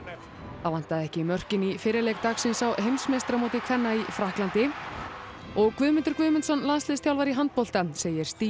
það vantaði ekki mörkin í fyrri leik dagsins á heimsmeistaramóti kvenna í Frakklandi og Guðmundur Guðmundsson landsliðsþjálfari í handbolta segir stigið